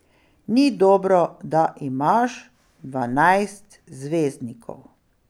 Ni dobro, da imaš dvanajst zvezdnikov.